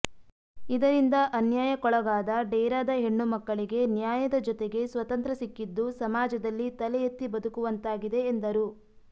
ಇದರಿಂದ ಅನ್ಯಾಯಾಕ್ಕೊಳಾಗದ ಡೇರಾದ ಹೆಣ್ಣು ಮಕ್ಕಳಿಗೆ ನ್ಯಾಯದ ಜೊತೆಗೆ ಸ್ವತಂತ್ರ ಸಿಕ್ಕಿದ್ದು ಸಮಾಜದಲ್ಲಿ ತಲೆ ಎತ್ತಿ ಬದುಕುವಂತಾಗಿದೆ ಎಂದರು